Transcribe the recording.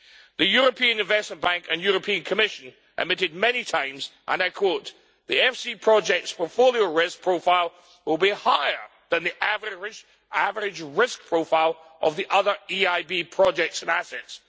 The European Investment Bank and European Commission admitted many times, and I quote The EFSI projects' portfolio risk profile will be higher than the average risk profile of the other EIB projects and assets.